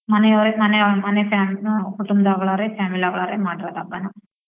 ಮನೆಯವ್ರೆ ಮನೆಯ ಮನೆ fami~ ಆ ಕುಟುಂಬದೊಳಗವ್ರೆ family ಯೊಳಗವ್ರೆ ಮಾಡಿರದ್ ಹಬ್ಬನ.